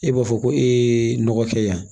E b'a fɔ ko e ye nɔgɔ kɛ yan